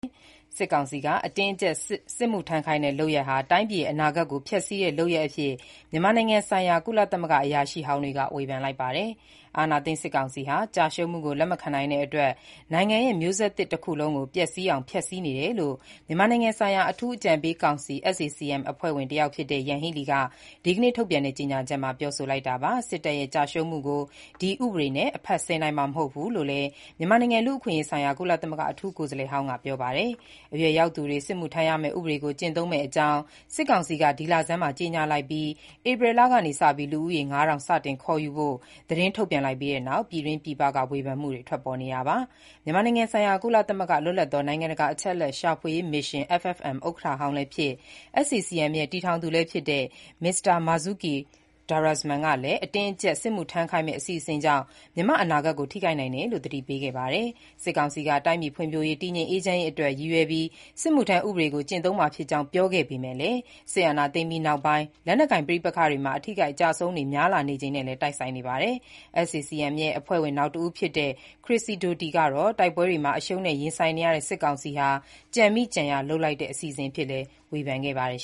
စစ်ကောင်စီက အတင်းအကျပ် စစ်မှုထမ်းခိုင်းတဲ့ လုပ်ရပ်ဟာ တိုင်းပြည်ရဲ့ အနာဂတ်ကို ဖျက်ဆီးတဲ့ လုပ်ရပ်အဖြစ် မြန်မာနိုင်ငံဆိုင်ရာ ကုလသမဂ္ဂ အရာရှိဟောင်းတွေက ဝေဖန်လိုက်ပါတယ်။ အာဏာသိမ်းစစ်ကောင်စီဟာ ကျရှုံးမှုကို လက်မခံနိုင်တဲ့အတွက် နိုင်ငံရဲ့ မျိုးဆက်သစ်တခုလုံးကို ပျက်ဆီးအောင် ဖျက်ဆီးနေတယ်လို့ မြန်မာနိုင်ငံဆိုင်ရာ အထူးအကြံပေးကောင်စီ (SAC-M) အဖွဲ့ဝင် တယောက်ဖြစ်တဲ့ Yanghee Lee က ဒီနေ့ထုတ်ပြန်တဲ့ ကြေညာချက်မှာ ပြောဆိုလိုက်တာပါ။ စစ်တပ်ရဲ့ ကျရှုံးမှုကို ဒီဥပဒေနဲ့ အဖတ်ဆယ်နိုင်မှာ မဟုတ်ဘူးလို့လည်း မြန်မာနိုင်ငံ လူ့အခွင့်အရေးဆိုင်ရာ ကုလသမဂ္ဂ အထူးကိုယ်စားလှယ်ဟောင်းက ပြောပါတယ်။ အရွယ်ရောက်သူတွေ စစ်မှုထမ်းရမယ့် ဥပဒေကို ကျင့်သုံးမယ့်အကြောင်း စစ်ကောင်စီက ဒီလဆန်းမှာ ကြေညာလိုက်ပြီး ဧပြီလကနေစပြီး လူဦးရေ ၅,၀၀၀ စတင် ခေါ်ယူဖို့ သတင်းထုတ်ပြန်လိုက်ပြီးနောက် ပြည်တွင်းပြည်ပ ဝေဖန်မှုတွေ ထွက်ပေါ်နေတာပါ။ မြန်မာနိုင်ငံဆိုင်ရာ ကုလသမဂ္ဂ လွတ်လပ်သော နိုင်ငံတကာ အချက်အလက်ရှာဖွေရေးမစ်ရှင် (FFM) ဥက္ကဋ္ဌဟောင်းလည်းဖြစ် SAC-M ရဲ့ တည်ထောင်သူလည်းဖြစ်တဲ့ မစ္စတာ Marzuki Darusman ကလည်း အတင်းအကျပ်စစ်မှုထမ်းခိုင်းမယ့် အစီအစဉ်ကြောင့် မြန်မာ့အနာဂတ်ကို ထိခိုက်နိုင်တယ်လို့ သတိပေးခဲ့တာပါ။ စစ်ကောင်စီက တိုင်းပြည်ဖွံ့ဖြိုးရေး၊ တည်ငြိမ်အေးချမ်းရေးအတွက် ရည်ရွယ်ပြီး စစ်မှုထမ်းဥပဒေကို ကျင့်သုံးမှာဖြစ်ကြောင်း ပြောပေမဲ့ စစ်အာဏာသိမ်းပြီးနောက်ပိုင်း လက်နက်ကိုင် ပဋိပက္ခတွေမှာ အထိအခိုက်အကျဆုံးတွေ များလာချိန်နဲ့လည်း တိုက်ဆိုင်နေပါတယ်။ SAC-M အဖွဲ့ဝင် နောက်တဦး ဖြစ်တဲ့ Chris Sidoti ကတော့ တိုက်ပွဲတွေမှာ အရှုံးနဲ့ရင်ဆိုင်နေရတဲ့ စစ်ကောင်စီဟာ ကြံမိကြံရာလုပ်တဲ့ အစီအစဉ်အဖြစ် ဝေဖန်ခဲ့ပါတယ်